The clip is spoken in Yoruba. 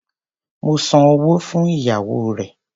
Mo san owó fún ìyàwó rẹ̀.